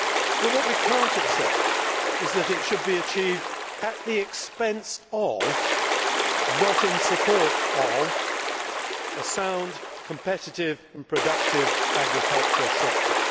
But what we cannot accept is that it should be achieved at the expense of not in support of a sound competitive and productive agriculture sector.